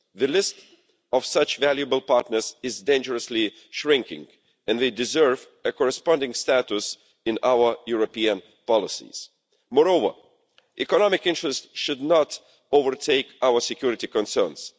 The list of such valuable partners is shrinking dangerously and they deserve a corresponding status in our European policies. Moreover, economic interests should not overtake our security concerns.